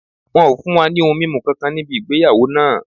Wọ́n ò fún wa ní ohun mímu kankan níbì ìgbéyàwó náà